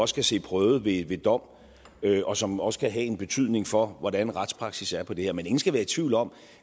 skal se prøvet ved dom og som også kan have en betydning for hvordan retspraksis er til det her men ingen skal være i tvivl om